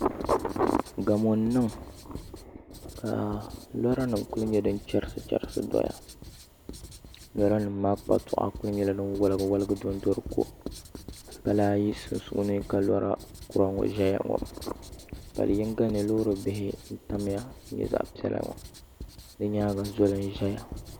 Gamo n niŋ ka lora nim ku nyɛ din chɛrisi chɛrisi doya lora nim maa kpatua ku nyɛla din woligi woligi dondo di ko pala ayi sunsuuni ka lora kura ŋɔ ʒɛya ŋɔ pali yinga ni ka loori kura ŋɔ tamya nyɛ zaɣ piɛla ŋɔ di nyaanga zoli n ʒɛya